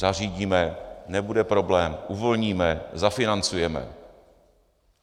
Zařídíme, nebude problém, uvolníme, zafinancujeme.